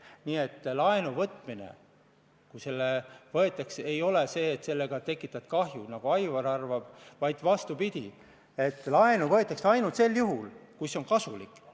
Nii et kui võtad laenu, siis ei ole nii, et sellega tekitad kahju, nagu Aivar arvab, vaid vastupidi: laenu võetakse ainult sel juhul, kui see on kasulik.